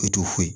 E t'o foyi